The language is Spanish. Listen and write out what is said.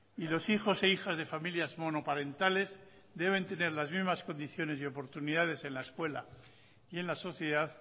y los hijos e hijas de familias monoparentales deben tener las mismas condiciones y oportunidades en la escuela y en la sociedad